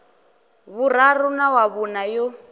vhuraru na wa vhuṋa yo